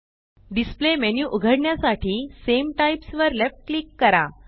displayमेन्यू उघडण्यासाठी सामे टाइप्स वर लेफ्ट क्लिक करा